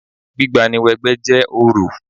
Gbígba ni wẹ 'gbẹ́ jẹ́ orò